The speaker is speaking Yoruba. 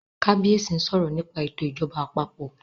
kabiyesi nsọ̀rọ nípa eto ìjọba àpapọ̀